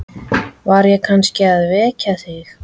Var ég kannski að vekja þig?